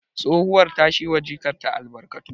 Tsohuwar ta shi wa jikanta albarkatu